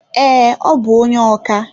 Ee, ọ bu onye oka